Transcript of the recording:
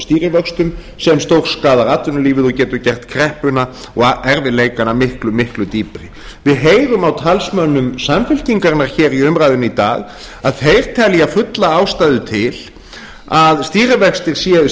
stýrivöxtum sem stórskaðar atvinnulífið og getur gert kreppuna og erfiðleikana miklu miklu dýpri við heyrum á talsmönnum samfylkingarinnar hér í umræðunni í dag að þeir telja fulla ástæðu til að